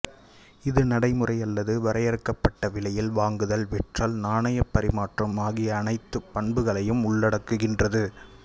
இது நடைமுறை அல்லது வரையறுக்கப்பட்ட விலையில் வாங்குதல் விற்றல் நாணயப் பரிமாற்றம் ஆகிய அணைத்துப் பண்புகளையும் உள்ளடக்குகின்றது